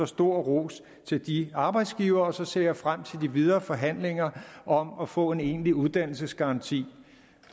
stor ros til de arbejdsgivere og så ser jeg frem til de videre forhandlinger om at få en egentlig uddannelsesgaranti